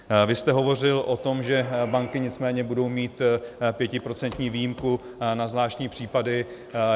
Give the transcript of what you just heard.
Vy jste hovořil o tom, že banky nicméně budou mít pětiprocentní výjimku na zvláštní případy.